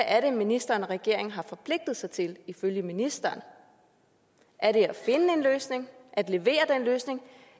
er det ministeren og regeringen har forpligtet sig til ifølge ministeren er det at finde en løsning at levere den løsning